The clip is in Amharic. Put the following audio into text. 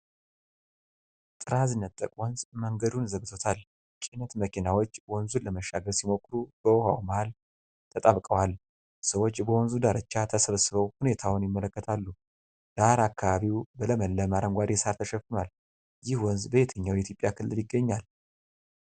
ጥራዝ ነጠቅ ወንዝ መንገዱን ዘግቶታል። ጭነት መኪናዎች ወንዙን ለመሻገር ሲሞክሩ በውሃው መሀል ተጣብቀዋል። ሰዎች በወንዙ ዳርቻ ተሰብስበው ሁኔታውን ይመለከታሉ። ዳር አካባቢው በለመለመ አረንጓዴ ሣር ተሸፍኗል። ይህ ወንዝ በየትኛው የኢትዮጵያ ክልል ይገኛል?